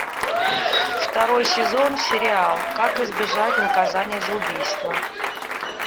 второй сезон сериал как избежать наказания за убийство